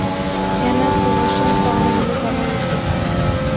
Yana tug‘ishim sog‘lig‘imga zarar yetkazadi.